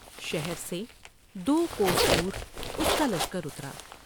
شہر سے دوکوس دور اس کا لشکر اترا ۔